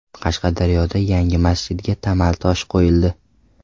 Qashqadaryoda yangi masjidga tamal toshi qo‘yildi.